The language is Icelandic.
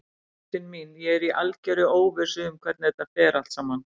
Ástin mín, ég er í algerri óvissu um hvernig þetta fer allt saman.